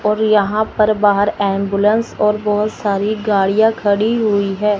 और यहां पर बाहर एम्बुलेंस और बहोत सारी गाड़िया खड़ी हुई है।